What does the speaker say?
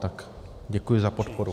Tak děkuji za podporu.